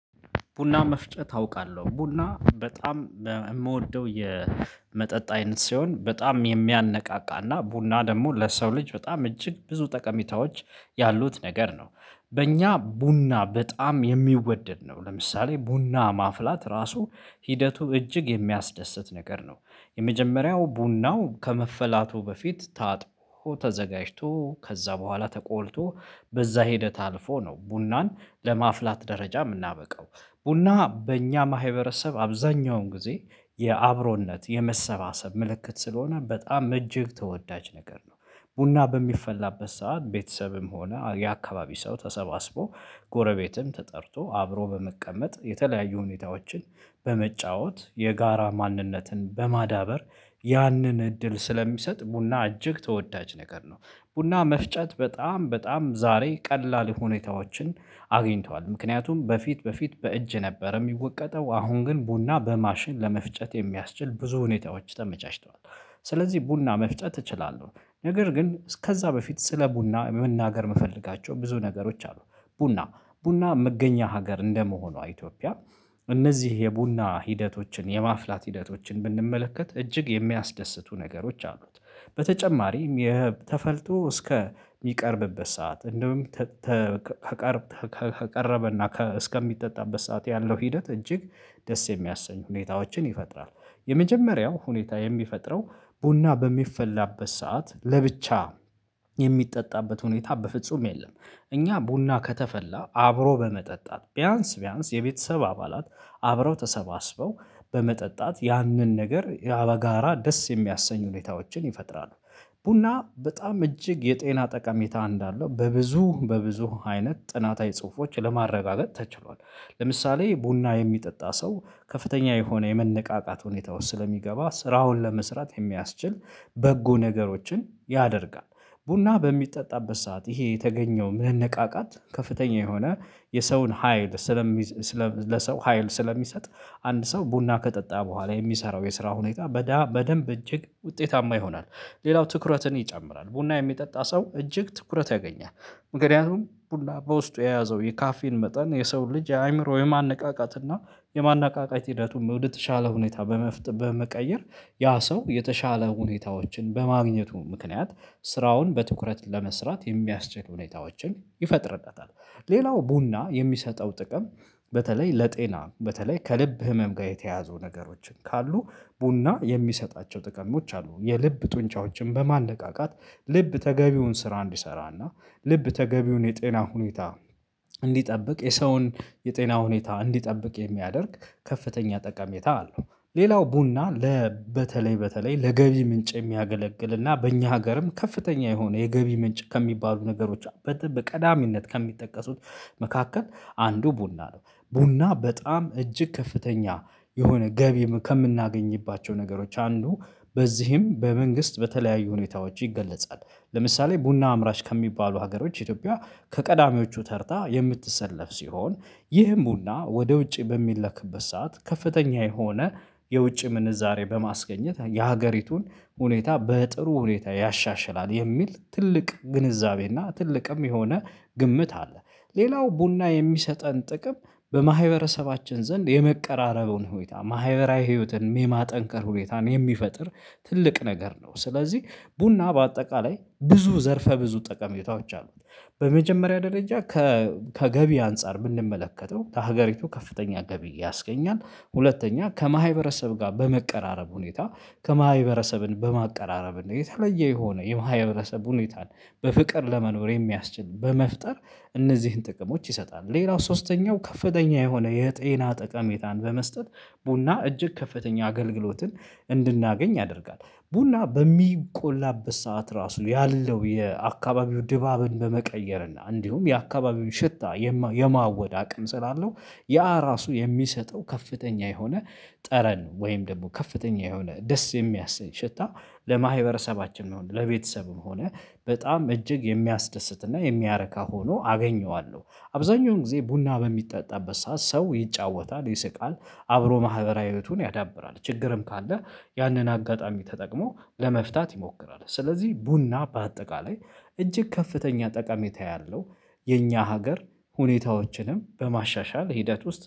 ቡና መፍጨት አውቃለሁ ቡና በጣም የምወደው የመጠጥ አይነት ሲሆን በጣም የሚያነቃቃና ቡና ደግሞ ለሰው ልጅ በጣም እጅግ ብዙ ጠቀሚታዎች ያሉት ነገር ነው። በእኛ ቡና በጣም የሚወደድ ነው ለምሳሌ ቡና ማፍላት ራሱ ሂደቱ እጅግ የሚያስደስት ነገር ነው። የመጀመሪያው ቡናው ከመፈላቱ በፊት ታጥቦ ተዘጋጅቶ ከዛ በኋላ ተቆልቶ በዛ ሂደት አልፎ ነው ቡናን ለማፍላት ደረጃ የምናበቃው ቡና በእኛ ማህበረሰብ አብዛኛውን ጊዜ የአብሮነት የመሰባሰብ ምልክት ስለሆነ በጣም እጅግ ተወዳጅ ነገር ነው። ቡና በሚፈላበት ሰዓት ቤተሰብም ሆነ የአካባቢ ሰው ተሰባስቦ ጎረቤትም ተጠርቶ አብሮ በመቀመጥ የተለያዩ ሁኔታዎችን በመጫወት የጋራ ማንነትን በማዳበር ያንን እድል ስለሚሰጥ ቡና እጅግ ተወዳጅ ነገር ነው። ቡና መፍጨት በጣም በጣም ዛሬ ቀላል ሁኔታዎችን አግኝተዋል ምክንያቱም በፊት በፊት በእጅ ነበር የሚወቀጠው አሁን ግን ቡና በማሽን ለመፍጨት የሚያስችል ብዙ ሁኔታዎች ተመቻችተዋል። ስለዚህ ቡና መፍጨት እችላለሁ። ነገር ግን እስከዛ በፊት ስለ ቡና መናገር የምፈልጋቸው ብዙ ነገሮች አሉ። ቡና ቡና መገኛ ሀገር እንደመሆኗ ኢትዮጵያ እነዚህ የቡና ሂደቶችን የማፍላት ሂደቶችን ብንመለከት እጅግ የሚያስደስቱ ነገሮች አሉት። በተጨማሪም የህብ ተፈልቶ እስከ የሚቀርብበት ሰዓት እንደውም ተ ተቀር ከቀረበና ከ እስከሚጠጣበት ሰዓት ያለው ሂደት እጅግ ደስ የሚያሰኝ ሁኔታዎችን ይፈጥራል። የመጀመሪያው ሁኔታ የሚፈጥረው ቡና በሚፈላበት ሰዓት ለብቻ የሚጠጣበት ሁኔታ በፍጹም የለም። እኛ ቡና ከተፈላ አብሮ በመጠጣት ቢያንስ ቢያንስ የቤተሰብ አባላት አብረው ተሰባስበው በመጠጣት ያንን ነገር ያበጋራ ደስ የሚያሰኝ ሁኔታዎችን ይፈጥራሉ። ቡና በጣም እጅግ የጤና ጠቀሜታ እንዳለው በብዙ በብዙ አይነት ጥናታዊ ጽሁፎች ለማረጋገጥ ተችሏል። ለምሳሌ ቡና የሚጠጣ ሰው ከፍተኛ የሆነ የመነቃቃት ሁኔታ ውስጥ ስለሚገባ ስራውን ለመስራት የሚያስችል በጎ ነገሮችን ያደርጋል። ቡና በሚጠጣበት ሰዓት ይሄ የተገኘው መነቃቃት ከፍተኛ የሆነ የሰውን ሀይል ስለሚዘ ለሰው ሀይል ስለሚሰጥ አንድ ሰው ቡና ከጠጣ በኋላ የሚሰራው የስራ ሁኔታ በዳ በደንብ እጅግ ውጤታማ ይሆናል። ሌላው ትኩረትን ይጨምራል ቡና የሚጠጣ ሰው እጅግ ትኩረት ያገኛል። ምክንያቱም ቡና በውስጡ የያዘው የካፌን መጠን የሰው ልጅ የአእምሮ የማነቃቃት እና የማነቃቃት ሂደቱን ወደተሻለ ሁኔታ በመፍጠር በመቀየር ያ ሰው የተሻለ ሁኔታዎችን በማግኘቱ ምክንያት ስራውን በትኩረት ለመስራት የሚያስችል ሁኔታዎችን ይፈጥርበታል። ሌላው ቡና የሚሰጠው ጥቅም በተለይ ለጤና በተለይ ከልብ ህመም ጋር የተያዙ ነገሮችን ካሉ ቡና የሚሰጣቸው ጥቅሞች አሉ የልብ ጡንቻዎችን በማነቃቃት ልብ ተገቢውን ስራ እንዲሰራና ልብ ተገቢውን የጤና ሁኔታ እንዲጠብቅ የሰውን የጤና ሁኔታ እንዲጠብቅ የሚያደርግ ከፍተኛ ጠቃሜታ አለው። ሌላው ቡና ለ በተለይ በተለይ ለገቢ ምንጭ የሚያገለግልና በእኛ ሀገርም ከፍተኛ የሆነ የገቢ ምንጭ ከሚባሉ ነገሮች በጥብ ቀዳሚነት ከሚጠቀሱት መካከል አንዱ ቡና ነው። ቡና በጣም እጅግ ከፍተኛ የሆነ ገቢ ከምናገኝባቸው ነገሮች አንዱ በዚህም በመንግስት በተለያዩ ሁኔታዎች ይገለጻል። ለምሳሌ ቡና አምራች ከሚባሉ ሀገሮች ኢትዮጵያ ከቀዳሚዎቹ ተርታ የምትሰለፍ ሲሆን ይህም ቡና ወደ ውጪ በሚለክበት ሰዓት ከፍተኛ የሆነ የውጪ ምንዛሬ በማስገኘት የሀገሪቱን ሁኔታ በጥሩ ሁኔታ ያሻሽላል የሚል ትልቅ ግንዛቤ እና ትልቅም የሆነ ግምት አለ። ሌላው ቡና የሚሰጠን ጥቅም በማህበረሰባችን ዘንድ የመቀራረቡን ሁኔታ ማህበራዊ ህይወትን ሜማ ጠንከር ሁኔታን የሚፈጥር ትልቅ ነገር ነው። ስለዚህ ቡና በአጠቃላይ ብዙ ዘርፈ ብዙ ጠቀሜታዎች አሉ። በመጀመሪያ ደረጃ ከገቢ አንፃር የምንመለከተው ከሀገሪቱ ከፍተኛ ገቢ ያስገኛል። ሁለተኛ ከማሃይበረሰብ ጋር በመቀራረብ ሁኔታ ከማሃይበረሰብን በማቀራረብ የተለየ የሆነ የመሃይህብረሰብ ሁኔታን በፍቅር ለመኖር የሚያስችል በመፍጠር እነዚህን ጥቅሞች ይሰጣሉ። ሌላው ሶስተኛው ከፍተኛ የሆነ የጤና ጠቀሜታን በመስጠት ቡና እጅግ ከፍተኛ አገልግሎትን እንድናገኝ ያደርጋል። ቡና በሚቆላበት ሰዓት ራሱ ያለው የአካባቢው ድባብን በመቀየር እና እንዲሁም የአካባቢው ሽታ የማ የማወድ አቅም ስላለው ያ ራሱ የሚሰጠው ከፍተኛ የሆነ ጠረን ወይም ደግሞ ከፍተኛ የሆነ ደስ የሚያሰኝ ሽታ ለማህበረሰባችን መሆን ለቤተሰብም ሆነ በጣም እጅግ የሚያስደስትና የሚያረካ ሆኖ አገኘዋለሁ። አብዛኛውን ጊዜ ቡና በሚጠጣበት ሰዓት ሰው ይጫወታል ይስቃል አብሮ ማህበራዊ እህቱን ያዳብራል ችግርም ካለ ያንን አጋጣሚ ተጠቅሞ ለመፍታት ይሞክራል። ስለዚህ ቡና በአጠቃላይ እጅግ ከፍተኛ ጠቃሜታ ያለው የኛ ሀገር ሁኔታዎችንም በማሻሻል ሂደት ውስጥ